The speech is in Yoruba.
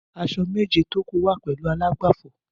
Aṣọ méjé tó kú wà pèlú àlágbáfọ